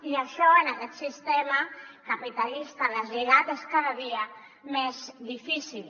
i això en aquest sistema capitalista deslligat és cada dia més difícil